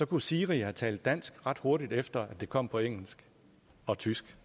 kunne siri have talt dansk ret hurtigt efter at det kom på engelsk og tysk